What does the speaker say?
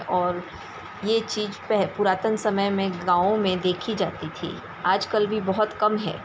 और ये चीज पह पुरातन समय में गाँव में देखी जाती थी। आजकल भी बोहोत कम है।